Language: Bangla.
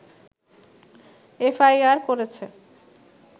এফআইআর করেছে